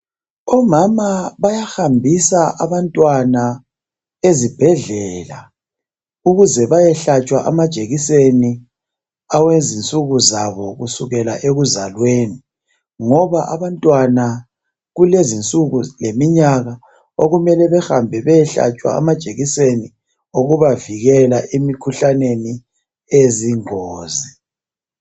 Omama bayahambisa abantwana ezibhedlela ukuze bayehlatshwa amajekiseni awezinsuku zabo kusukela ekuzalweni, ngoba abantwana kulezinsuku leminyaka okumele behambe beyehlatshwa amajekiseni okubavikela emikhuhlaneni eyingozi.